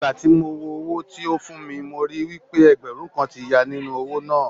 Ìgbà tí mo wo owó tí ó fún mi mo ríi wí pé ẹgbẹ̀rún kan ti ya nínú owó náà.